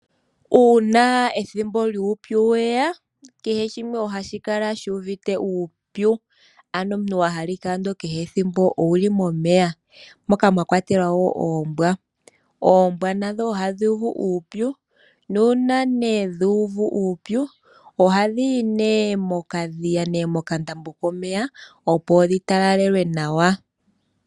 Uuna ethimbo lyuupyu weya kehe shimwe ohashi kala shu uvite uupyu. Ano omuntu wa hala ike kehe thimbo owuli momeya moka mwa kwatelwa woo oombwa. Oombwa nadho odhi uvu uupyu nuuna nee dhu uvu uupyu ohadhi yi nee mokadhiya nenge mokandambo komeya opo dhi talalelwe nawa.